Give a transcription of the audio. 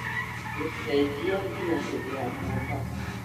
gũcenjia nginya hĩndĩ ya mombasa